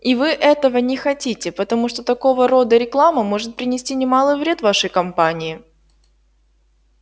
и вы этого не хотите потому что такого рода реклама может принести немалый вред вашей компании